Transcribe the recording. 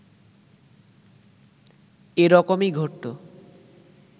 এরকমই ঘটতো